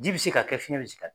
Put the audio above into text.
Ji bɛ se ka kɛ fiyɛn bɛ se ka kɛ.